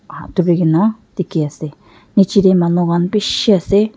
dikhi ase nicche teh manu khan bishi ase.